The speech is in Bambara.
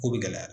Ko bɛ gɛlɛya